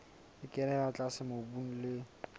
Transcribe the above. e kenella tlase mobung le